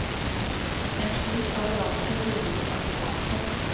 En slik arroganse burde vi vært spart for.